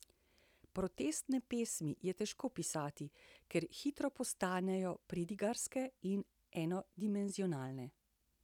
Protestne pesmi je težko pisati, ker hitro postanejo pridigarske in enodimenzionalne.